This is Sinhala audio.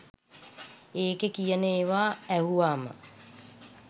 ඒකේ කියන ඒවා ඇහුවාම